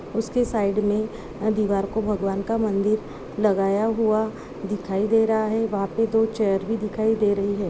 उसके साइड मे भगवान का मंदिर लगाया हुआ दिखाई दे रहा है वहाँ पे दो चेयर भी दिखाई दे रही है।